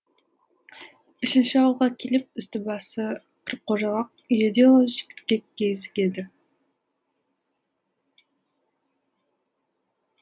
үшінші ауылға келіп үсті басы кір қожалақ үйі де лас жігітке кезігеді